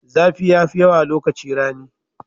Zafi yafi yawa lokaci rani.